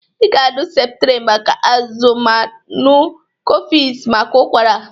Ị ga-aṅụ septrin maka azụzụ ma ṅụ kọfes maka ụkwara.